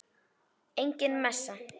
Engin messa.